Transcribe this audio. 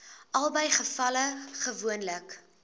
albei gevalle gewoonlik